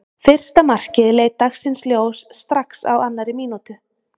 Fyrsta markið leit dagsins ljós strax á annarri mínútu.